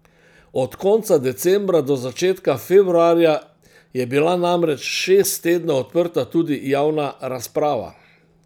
Od konca decembra do začetka februarja je bila namreč šest tednov odprta tudi javna razprava.